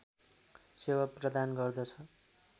सेवा प्रदान गर्दछ